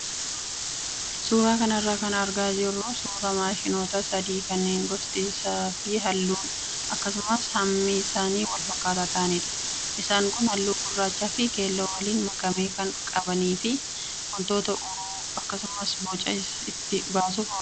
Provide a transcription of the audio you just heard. Suuraa kanarraa kan argaa jirru suuraa maashonoota sadii kanneen gostii fi halluun akkasumas hammi isaanii wal fakkaataa ta'anidha. Isaan kun halluu gurraachaa fi keelloo waliin makame kan qabanii fi wantoota uruu akkasumas boca itti baasuuf oolu.